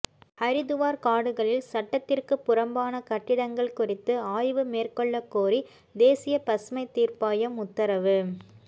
ஹரித்துவார் காடுகளில் சட்டத்திற்கு புறம்பான கட்டிடங்கள் குறித்து ஆய்வு மேற்கொள்ளக்கோரி தேசிய பசுமை தீர்ப்பாயம் உத்தரவு